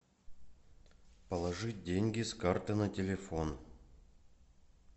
положи деньги с карты на телефон